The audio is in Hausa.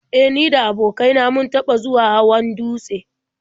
E, ni da abokain na mun taɓa zuwa hawan dutse.